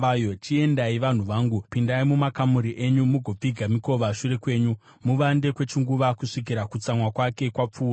Chiendai, vanhu vangu, pindai mumakamuri enyu, mugopfiga mikova shure kwenyu; muvande kwechinguva kusvikira kutsamwa kwake kwapfuura.